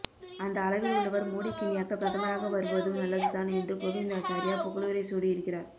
அந்த அளவில் உள்ளவர் மோடிக்கு இணையாக பிரதமராக வருவதும் நல்லதுதான் என்று கோவிந்தாச்சாரியா புகழுரை சூடி இருக்கிறார்